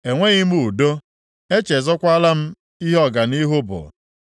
Enweghị m udo, echezọkwaala m ihe ọganihu bụ.